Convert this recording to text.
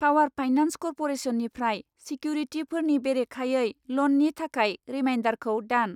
Power finance कर्प'रेसननिफ्राय सिकिउरिटिफोरनि बेरेखायै ल'ननि थाखाय रिमाइन्दारखौ दान।